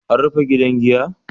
An rufe gidan giya?